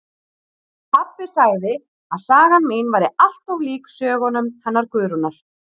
Pabbi sagði að sagan mín væri allt of lík sögunum hennar Guðrúnar